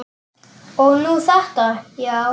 Og nú þetta, já.